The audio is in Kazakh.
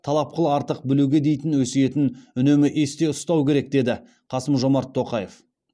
талап қыл артық білуге дейтін өсиетін үнемі есте ұстау керек деді қасым жомарт тоқаев